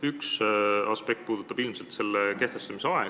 Üks aspekte puudutab ilmselt selle muudatuse kehtestamise aega.